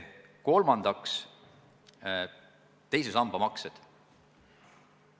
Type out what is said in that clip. Kolmandaks, teise samba maksed.